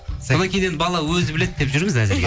содан кейін енді бала өзі біледі деп жүрміз әзірге